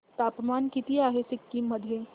तापमान किती आहे सिक्किम मध्ये